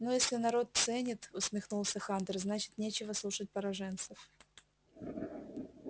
ну если народ ценит усмехнулся хантер значит нечего слушать пораженцев